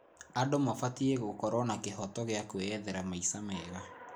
Andũ mabatiĩ gũkorwo na kĩhooto gĩa kwĩethera maica mega.